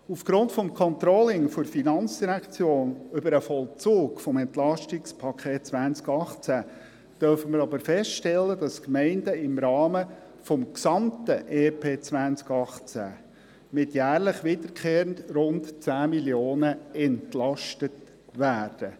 Aufgrund des Controllings der FIN über den Vollzug des EP 2018 dürfen wir aber feststellen, dass die Gemeinden im Rahmen des gesamten EP 2018 jährlich wiederkehrend mit rund 10 Mio. Franken entlastet werden.